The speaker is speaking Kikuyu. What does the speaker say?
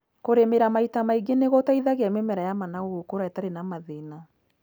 Kũrĩmĩra maita maingĩ nĩgũteithagia mĩmera ya managu gũkũra ĩtarĩ na mathĩna.